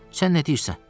Sən nə deyirsən?